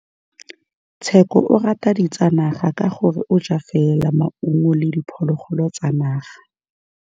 Tshekô o rata ditsanaga ka gore o ja fela maungo le diphologolo tsa naga.